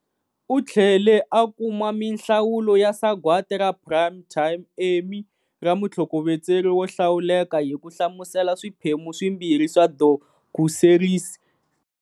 U tlhele a kuma minhlawulo ya Sagwadi ra Primetime Emmy ra Mutlhokovetseri wo Hlawuleka hi ku hlamusela swiphemu swimbirhi swa docu-series.